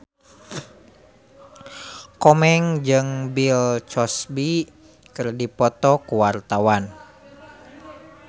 Komeng jeung Bill Cosby keur dipoto ku wartawan